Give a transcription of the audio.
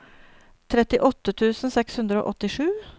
trettiåtte tusen seks hundre og åttisju